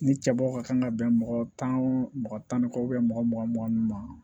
Ni cɛbaw ka kan ka bɛn mɔgɔ tan mɔgɔ tan ni kɔ mɔgɔ mugan mugan nunnu ma